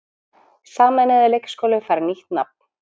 Sameinaður leikskóli fær nýtt nafn